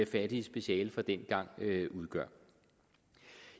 fattige speciale fra dengang udgør